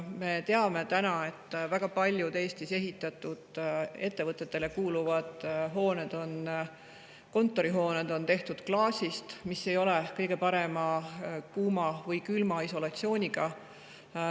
Me teame, et väga paljud ettevõtetele kuuluvad hooned, kontorihooned, Eestis on tehtud klaasist, mis ei ole kõige parema kuuma‑ või külmaisolatsiooniga.